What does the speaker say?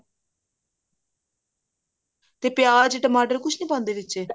ਤੇ ਪਿਆਜ ਟਮਾਟਰ ਕੁਛ ਨੀ ਪਾਉਂਦੇ ਵਿੱਚ